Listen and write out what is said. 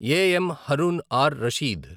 A. M. Harun R Rashid